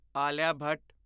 Alia Bhatt